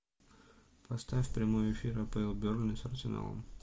поставь прямой эфир апл бернли с арсеналом